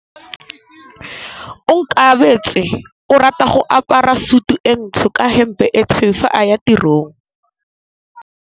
Onkabetse o rata go apara sutu e ntsho ka hempe e tshweu fa a ya tirong.